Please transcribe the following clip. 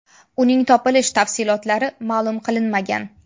Uning topilish tafsilotlari ma’lum qilinmagan.